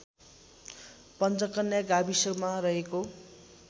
पञ्चकन्या गाविसमा रहेको